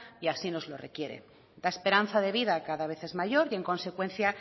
y así nos lo requiere la esperanza de vida cada vez es mayor y en consecuencia